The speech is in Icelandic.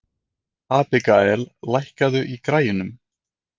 Abigael, lækkaðu í græjunum.